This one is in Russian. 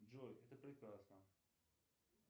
джой это прекрасно